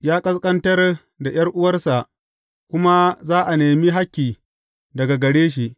Ya ƙasƙantar da ’yar’uwarsa kuma za a nemi hakki daga gare shi.